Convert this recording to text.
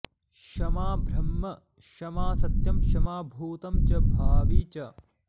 क्षमा ब्रह्म क्षमा सत्यं क्षमा भूतं च भावि च